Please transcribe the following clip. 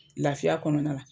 Lafiya kɔnɔna la